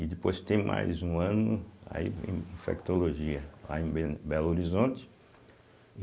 E depois tem mais um ano aí em Infectologia, lá em bem Belo Horizonte.